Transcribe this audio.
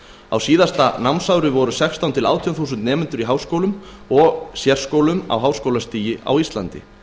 á síðasta námsári voru sextán þúsund til átján þúsund nemendur í háskólum og sérskólum á háskólastigi á íslandi